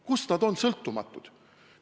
Kust nad on sõltumatud?